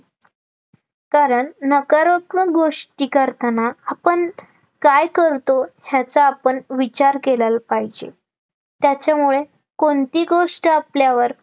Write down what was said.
कारण नकारात्कमक गोष्टी करताना आपण काय करतो, याचा आपन विचार केल्याल पाहिजे त्याच्यामुळे कोणती गोष्ट आपल्यावर